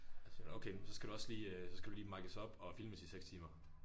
Og så siger hun okay men så skal du også lige øh så skal du lige mices up og filmes i 6 timer